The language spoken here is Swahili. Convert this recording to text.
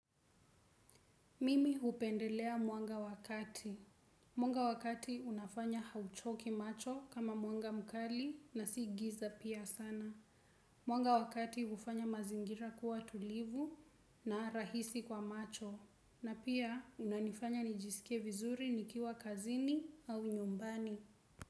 Mimi hupendelea mwanga wa kati. Mwanga wa kati unafanya hauchoki macho kama mwanga mkali na si giza pia sana. Mwanga wa kati hufanya mazingira kuwa tulivu na rahisi kwa macho. Na pia unanifanya nijisikie vizuri nikiwa kazini au nyumbani.